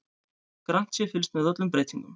Grannt sé fylgst með öllum breytingum